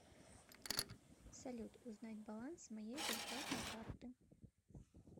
салют узнать баланс моей зарплатной карты